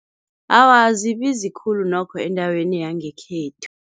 Awa, azibizi khulu nokho endaweni yangekhethu.